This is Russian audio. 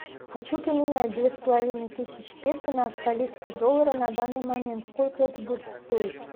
хочу поменять две с половиной тысячи песо на австралийские доллары на данный момент сколько это будет стоить